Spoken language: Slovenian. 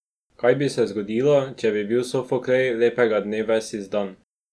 Kaj bi se zgodilo, če bi bil Sofoklej lepega dne ves izdan?